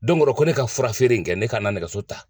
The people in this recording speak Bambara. Don dɔ la ko ne ka n ka fura feere in kɛ ne ka n na nɛgɛso ta